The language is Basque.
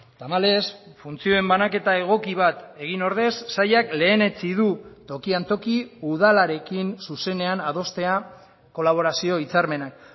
tamalez funtzioen banaketa egoki bat egin ordez sailak lehenetsi du tokian toki udalarekin zuzenean adostea kolaborazio hitzarmenak